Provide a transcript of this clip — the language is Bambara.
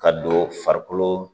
Ka don farikolo